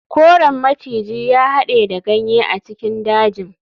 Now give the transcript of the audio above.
Koren maciji ya hade da ganye a cikin dajin.